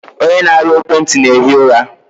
Onye na-arụ ekwenti na-ehi ụra.